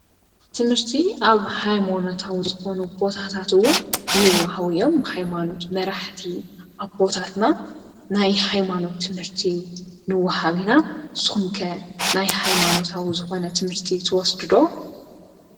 ብትምህርቲ ኣብ ሃይሞኖታዊ ዝኾኑ ቦታታት ውን ይውሃቡ እዮም፡፡ ሃይማኖት መራሕቲ ኣቦታትና ናይ ሃይማኖት ትምህርቲ ንወ ሃብ ኢና፡፡ ንስኹም ከ ናይ ሃይማኖታዊ ዝኾነ ትምህርቲ ትወስድ ዶ?